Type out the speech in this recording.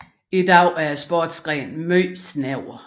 I dag er sportsgrenen meget snæver